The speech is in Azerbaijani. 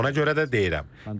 Ona görə də deyirəm: